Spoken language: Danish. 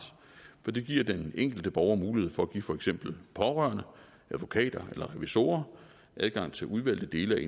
for det giver den enkelte borger mulighed for at give for eksempel pårørende advokater eller revisorer adgang til udvalgte dele af